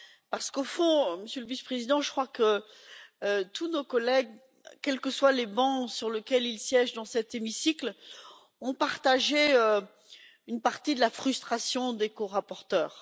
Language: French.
Car, au fond, Monsieur le Vice président, je crois que tous nos collègues, quel que soit le banc sur lequel ils siègent dans cet hémicycle, ont partagé une partie de la frustration des corapporteurs.